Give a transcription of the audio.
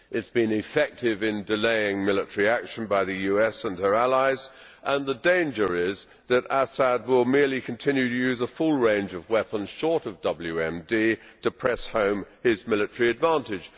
It has been effective in delaying military action by the US and her allies, and the danger is that Assad will merely continue to use a full range of weapons, short of WMD, to press home his military advantage.